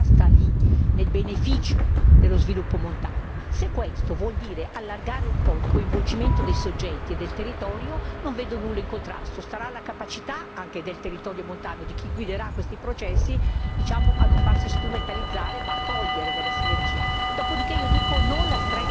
Quindi certamente la priorità sta lì, nel beneficio dello sviluppo montano. Se questo vuol dire allargare un po' il coinvolgimento dei soggetti e del territorio, non vedo nulla in contrasto, starà alla capacità anche del territorio montano di chi guiderà questi processi a non farsi strumentalizzare ma cogliere dalla sinergia.